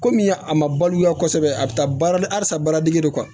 Komi a ma baloya kosɛbɛ a bɛ taa baara dege halisa baara dege go